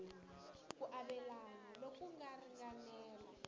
ku avelana loku nga ringanela